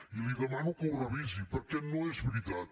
i li demano que ho revisi perquè no és veritat